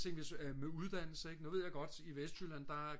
se hvis med uddannelse ik nu ved jeg godt i Vestjylland der